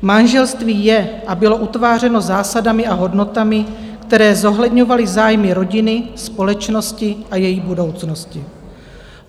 Manželství je a bylo utvářeno zásadami a hodnotami, které zohledňovaly zájmy rodiny, společnosti a její budoucnosti.